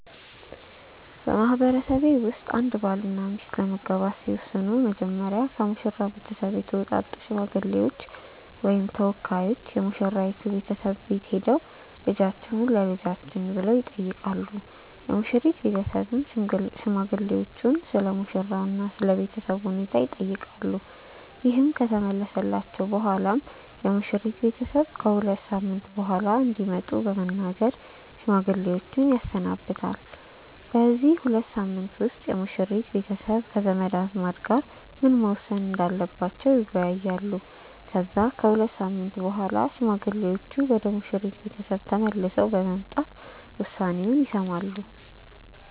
በማህበረሰቤ ውስጥ አንድ ባልና ሚስት ለመጋባት ሲወስኑ መጀመሪያ ከሙሽራው ቤተሰብ የተውጣጡ ሽማግሌዎች ወይም ተወካዮች የሙሽራይቱ ቤተሰብ ቤት ሄደው "ልጃችሁን ለልጃችን" ብለው ይጠይቃሉ። የሙሽሪት ቤተሰብም ሽማግሌዎቹን ስለሙሽራው እና ስለ ቤተሰቡ ሁኔታ ይጠይቃሉ። ይህ ከተመለሰላቸው በኋላም የሙሽሪት ቤተሰብ ከ ሁለት ሳምንት በኋላ እንዲመጡ በመናገር ሽማግሌዎችን ያሰናብታል። በዚህ ሁለት ሳምንት ውስጥ የሙሽሪት ቤተሰብ ከዘመድ አዝማድ ጋር ምን መወሰን እንዳለባቸው ይወያያሉ። ከዛ ከሁለት ሳምንት በኋላ ሽማግሌዎቹ ወደ ሙሽሪት ቤተሰብ ቤት ተመልሰው በመምጣት ውሳኔውን ይሰማሉ።